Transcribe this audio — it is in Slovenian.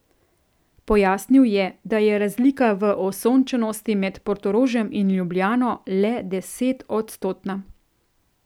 Pojasnil je, da je razlika v osončenosti med Portorožem in Ljubljano le desetodstotna.